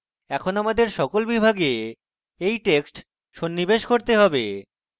এখন আমাদের সকল বিভাগে এই text সন্নিবেশ করতে have